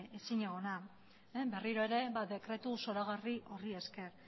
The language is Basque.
ezinegona berriro ere dekretu zoragarri horri esker